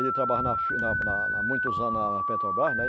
Ele trabalha na na na na há muitos anos na Petrobras, né?